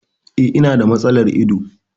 E, ina da matsalar ido.